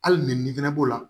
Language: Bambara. Hali ni nin fɛnɛ b'o la